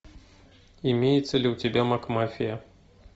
имеется ли у тебя мак мафия